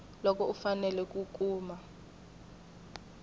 loko u fanele ku kuma